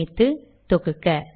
சேமித்து தொகுக்க